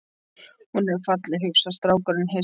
Hún er falleg, hugsar strákurinn hissa.